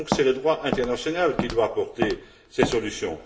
C'est donc le droit international qui doit apporter ses solutions.